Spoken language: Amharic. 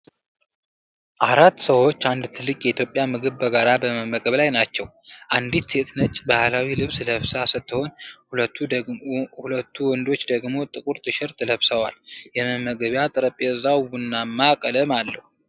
አራት ሰዎች አንድ ትልቅ የኢትዮጵያ ምግብ በጋራ በመመገብ ላይ ናቸው። አንዲት ሴት ነጭ ባህላዊ ልብስ ለብሳ ስትሆን ሁለቱ ወንዶች ደግሞ ጥቁር ቲሸርት ለብሰዋል። የመመገቢያ ጠረጴዛው ቡናማ ቀለም አለው።